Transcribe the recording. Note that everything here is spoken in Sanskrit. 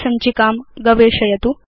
सञ्चिकां गवेषयतु